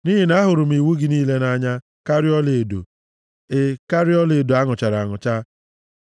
Nʼihi na ahụrụ m iwu gị niile nʼanya karịa ọlaedo, e karịa ọlaedo a nụchara anụcha,